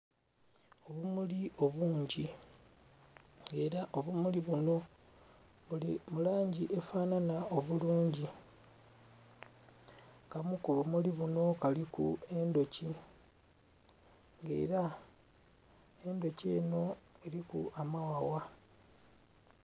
Obumuli obungi nga era obumuli bunho buli mu langi efananha obulungi, akamu ku bumuli bunho kaliku endhoki nga era endhoki enho eriku amaghagha.